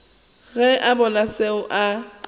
ge a bona seo a